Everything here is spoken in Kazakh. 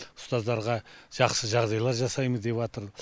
ұстаздарға жақсы жағдайлар жасаймыз деватыр